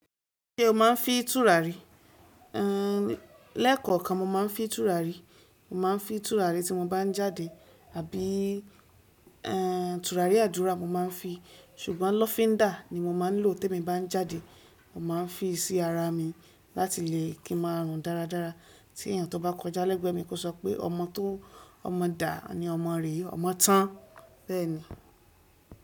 Ṣé o máa ń fi tùràrí? Lẹ́ẹ̀kọ̀ọ́ kan mo máa ń fi tùràrí, mo máa ń fi tùràrí tí mo bá ń jáde àbí tùràrí àdúrà mo máa ń fi, ṣùgbọ́n lọ́fíndà ni mo máa ń lò temi nba jáde, mo máa ń fi sí ara mi láti lè kí ma rùn dáradára. Tí èèyàn tó bá kọjá lẹ́gbẹ̀ẹ́ mi kó sọ pé ọmọ tó ọmọ dà ni ọmọ rè, ọmọ tán. Bẹ́ẹ̀ ni.